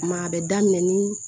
Maa a bɛ daminɛ ni